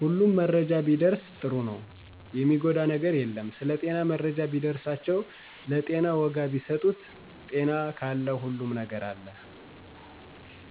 ሁሉም መረጃ ቢደርስ ጥሩ ነው የሚጎዳ ነገር የለም ስለጤና መረጃ ቢደርሳቸው ለጤና ወጋ ቢሰጡት ጤና ካለ ሁሉም ነገር አለ